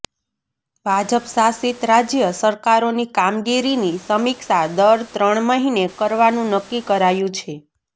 ભાજપશાસિત રાજય સરકારોની કામગીરીની સમીક્ષા દર ત્રણ મહીને કરવાનું નકકી કરાયું છે